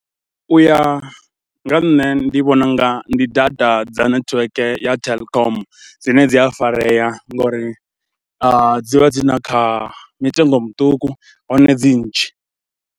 U ya nga nṋe ndi vhona u nga ndi data dza netiweke ya Telkom dzine dzi a farea ngauri dzi vha dzi na kha mitengo muṱuku hone dzi nnzhi.